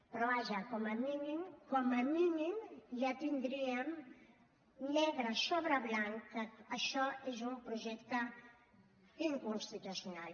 però vaja com a mínim com a mínim ja tindríem negre sobre blanc que això és un projecte inconstitucional